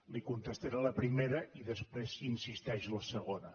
li contestaré la primera i després si hi insisteix la segona